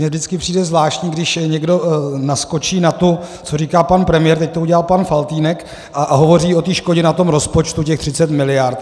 Mně vždycky přijde zvláštní, když někdo naskočí na to, co říká pan premiér - teď to udělal pan Faltýnek - a hovoří o té škodě na tom rozpočtu těch 30 miliard.